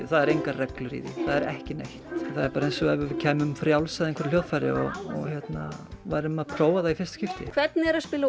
það eru engar reglur í því það er ekki neitt það er bara eins og við kæmum frjáls að einhverju hljóðfæri og við værum að prófa það í fyrsta skipti hvernig er að spila